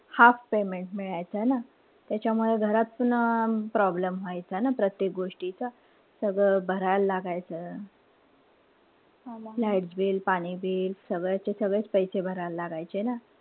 Half payment मिळायचं. है ना? त्याच्यामुळे घरातपण problem व्हायचा ना प्रत्येक गोष्टीचा. सगळं भरायल लागायचं. light bill, पाणी bill सगळ्या याचे सगळेच पैसे भरायला लागायचे ना.